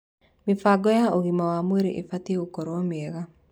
Mĩbango ya ũgima wa mwĩrĩ ĩbatiĩ gũkorwo mĩega.